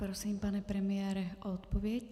Prosím, pane premiére, o odpověď.